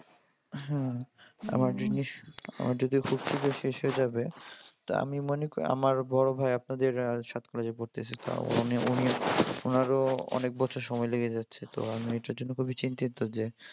হ্যাঁ। আমার যদিও ফুস করে শেষ হয়ে যাবে। তা আমি মনে করি আমার বড় ভাই আপনাদের সাথে কলেজে ভর্তি হয়েছে তাও মানে উনি ওনারও অনেক বছর সময় লেগে যাচ্ছে তো আমি এইতার জন্য খুবই চিন্তিত যে